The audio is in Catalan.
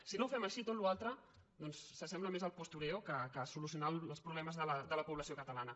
si no ho fem així tota la resta doncs s’assembla més al postureo que a solucionar els problemes de la població catalana